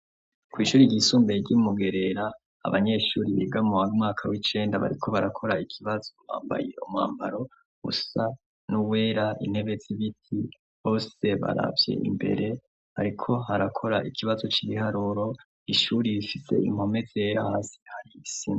Kwishuri ry'isumbuye ryi Mugerera abanyeshuri biga mu mwaka w'icenda bariko barakora ikibazo bambaye umwambaro usa nuwera intebe zibiti bose baravye imbere bariko barakora ikibazo cibiharuro, ishuri rifise impome zera, hasi hari isi.